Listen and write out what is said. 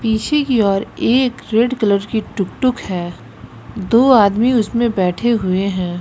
पीछे की ओर एक रेड कलर की टुकटुक है दो आदमी उसमें बैठे हुए हैं।